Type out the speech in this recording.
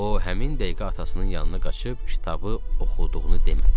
O həmin dəqiqə atasının yanına qaçıb kitabı oxuduğunu demədi.